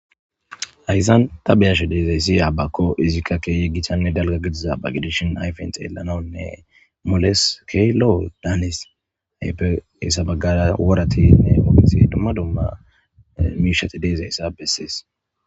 hayssan ta beyashe deezayssi aabakko izikka keeye gitanne dalga gidiza baqidishin ayfen xeellanonne moles ke lo7o daanis aypessabagara woratinne oofinxi dumma dumma miishati deezayssa bessees